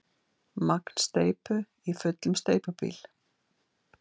Magn steypu í fullum steypubíl.